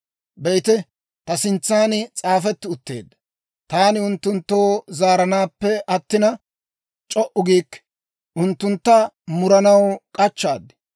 «Be'ite, ta sintsan s'aafetti utteedda; taani unttunttoo zaaranappe attina, c'o"u giikke; unttuntta muranaw k'achchaad.